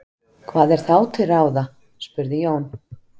Hvað er þá til ráða? spurði Jón.